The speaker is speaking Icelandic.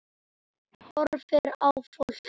Horfir á fólkið.